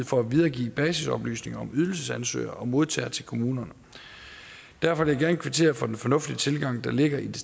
for at videregive basisoplysninger om ydelsesansøger og modtager til kommunerne derfor vil jeg gerne kvittere for den fornuftige tilgang der ligger i det